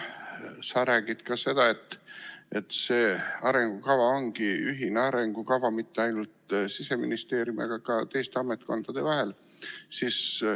Sa räägid ka seda, et see arengukava ongi ühine arengukava, mitte ainult Siseministeeriumi, vaid ka teiste ametkondade jaoks.